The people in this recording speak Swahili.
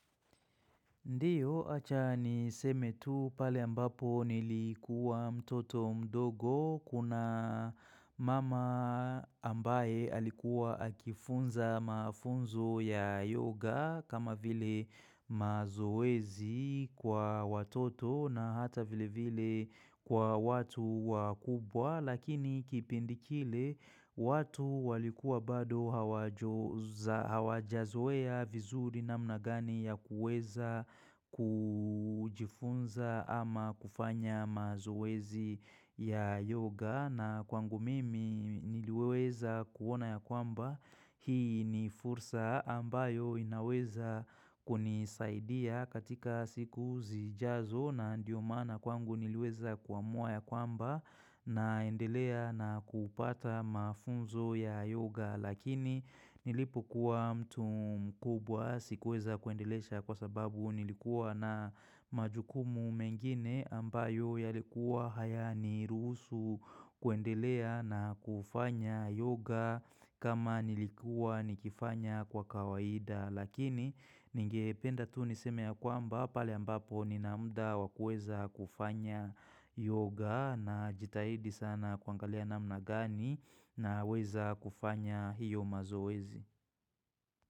Ndio Acha ni seme tu pale ambapo nilikuwa mtoto mdogo kuna mama ambaye alikuwa akifunza mafunzo ya yoga kama vile mazoezi kwa watoto na hata vile vile kwa watu wakubwa. Lakini kipindi kile watu walikua bado hawaja hawajazoea vizuri namna gani ya kuweza kujifunza ama kufanya mazoezi ya yoga na kwangu mimi niliweza kuona ya kwamba hii ni fursa ambayo inaweza kunisaidia katika siku zijazo na ndiyo maana kwangu niliweza kwa mua ya kwamba naendelea na kupata mafunzo ya yoga lakini nilipo kuwa mtu mkubwa sikuweza kuendelecha kwa sababu nilikuwa na majukumu mengine ambayo yalikuwa hayaniruhusu kuendelea na kufanya yoga kama nilikuwa nikifanya kwa kawaida Lakini ningependa tu niseme ya kwamba pale ambapo ninamda wakl kuweza kufanya yoga na jitahidi sana kuangalia namna gani na weza kufanya hiyo mazoezi.